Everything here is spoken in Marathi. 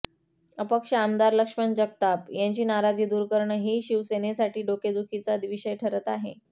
अपक्ष आमदार लक्ष्मण जगताप यांची नाराजी दूर करणं ही शिवसेनेसाठी डोकेदुखीचा विषय ठरत आहे